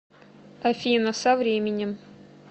афина со временем